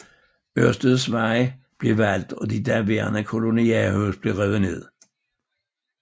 Ørstedsvej blev valgt og de daværende kolonihavehuse blev revet ned